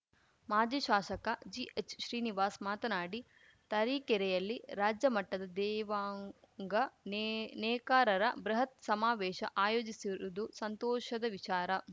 ಮಾಜಿ ಶಾಸಕ ಜಿಎಚ್‌ ಶ್ರೀನಿವಾಸ್‌ ಮಾತನಾಡಿ ತರೀಕೆರೆಯಲ್ಲಿ ರಾಜ್ಯ ಮಟ್ಟದ ದೇವಾಂಗ ನೆೇ ನೇಕಾರರ ಬೃಹತ್‌ ಸಮಾವೇಶ ಆಯೋಜಿಸಿರುವುದು ಸಂತೋಷದ ವಿಚಾರ